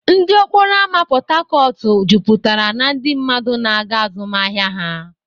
Ndụ okporo ámá Port Harcourt jupụtara na ndị mmadụ na-aga azụmahịa ha.